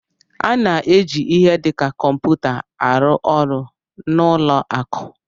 A na-eji ihe dị ka kọmputa arụ ọrụ n'ụlọ akụ